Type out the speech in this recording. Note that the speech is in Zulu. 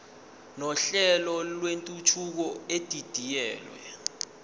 nohlelo lwentuthuko edidiyelwe